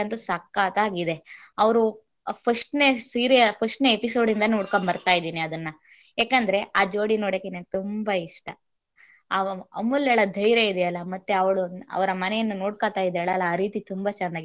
ಅಂತು ಸಕ್ಕತಾಗಿದೆ ಅವರು first ನೇ ಸೀರಿಯಲ್ first ನೇ episode ಇಂದ ನೋಡಕೊಂಡ್ ಬರ್ತಾ ಇದೀನಿ ಅದನ್ನ. ಯಾಕಂದ್ರೆ ಆ ಜೋಡಿ ನೋಡೋಕೆ ನಂಗೆ ತುಂಬಾ ಇಷ್ಟ . ಆ ಅಮು~ ಅಮೂಲ್ಯಲ ಧೈರ್ಯ ಇದಿಯಾಲ ಮತ್ತೆ ಅವರ ಮನೆಯನ್ನ ನೋಡಕೋತ ಇದ್ದಾಳಲ್ಲ ಆ ರೀತಿ ತುಂಬಾ ಚೆನ್ನಾಗಿದೆ.